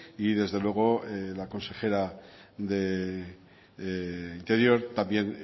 y desde luego de la consejera de interior también